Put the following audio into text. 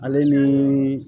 Ale ni